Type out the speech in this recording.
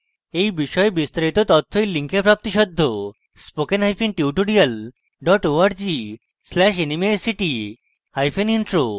এই বিষয়ে বিস্তারিত তথ্য এই লিঙ্কে প্রাপ্তিসাধ্য spoken hyphen tutorial dot org slash nmeict hyphen intro